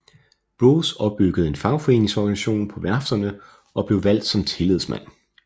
Broz opbyggede en fagforeningsorganisation på værfterne og blev valgt som tillidsmand